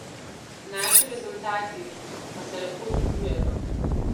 Naši rezultati pa se lepo dvigujejo.